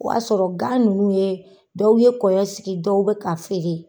O y'a sɔrɔ gan ninnu ye dɔw ye kɔyɔ sigi dɔw bɛ ka feere.